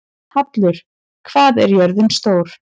Hallur, hvað er jörðin stór?